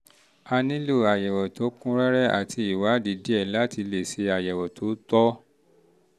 a nílò àyẹ̀wò tó kún rẹ́rẹ́ àti ìwádìí díẹ̀ láti lè ṣe àyẹ̀wò tó tọ́